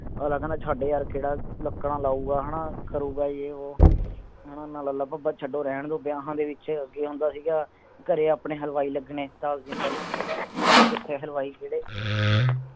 ਅਗਲਾ ਕਹਿੰਦਾ ਛੱਡ ਯਾਰ ਕਿਹੜਾ ਲੱਕੜਾਂ ਲੱਗਾ ਉਗਾ ਹੈਂ ਨਾ ਕਰੂਗਾ ਯੈ ਵੌ ਹੈਂ ਨਾ ਲਬਾ ਬਾਬ ਛੱਡੋ ਰਹਿਣ ਦਿਓ ਵਿਆਹਾਂ ਦੇ ਵਿਚ ਅੱਗੇ ਹੁੰਦਾ ਸੀਗਾ ਘਰੇ ਆਪਣੇ ਹਲਵਾਈ ਲੱਗਣੇ ਦਸ ਦਿਨ ਪਹਿਲਾਂ ਹੋਣ ਕਿਤੇ ਹਲ੍ਵੇਈ ਕਿਹੜੇ